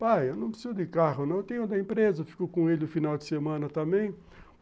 Pai, eu não preciso de carro não, eu tenho o da empresa, fico com ele no final de semana também.